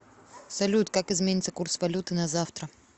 салют как изменится курс валюты на завтра